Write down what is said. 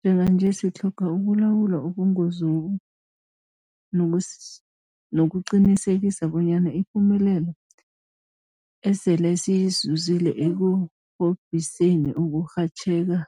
Njenganje sitlhoga ukulawula ubungozobu nokuqinisekisa bonyana ipumelelo esele siyizuzile ekurhobhiseni ukurhatjheka